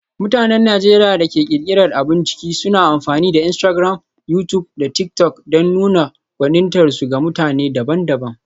Mutanen Najeriya da ke ƙirƙirar abun ciki suna amfani da Instagram, YouTube, da TikTok don nuna gwanintarsu ga mutane daban-daban.